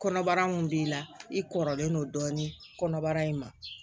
Kɔnɔbara mun b'i la i kɔrɔlen don dɔɔnin kɔnɔbara in ma